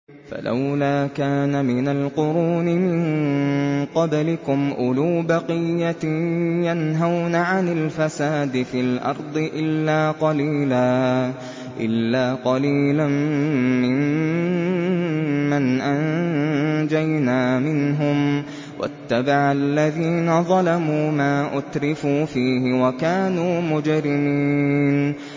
فَلَوْلَا كَانَ مِنَ الْقُرُونِ مِن قَبْلِكُمْ أُولُو بَقِيَّةٍ يَنْهَوْنَ عَنِ الْفَسَادِ فِي الْأَرْضِ إِلَّا قَلِيلًا مِّمَّنْ أَنجَيْنَا مِنْهُمْ ۗ وَاتَّبَعَ الَّذِينَ ظَلَمُوا مَا أُتْرِفُوا فِيهِ وَكَانُوا مُجْرِمِينَ